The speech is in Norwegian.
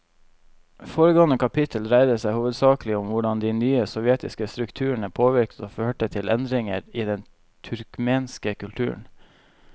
Foregående kapittel dreide seg hovedsakelig om hvordan de nye sovjetiske strukturene påvirket og førte til endringer i den turkmenske kulturen.